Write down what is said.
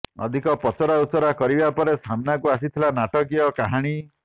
ଅଧିକ ପଚରାଉଚରା କରିବା ପରେ ସାମ୍ନାକୁ ଆସିଥିଲା ନାଟକୀୟ କାହାଣୀ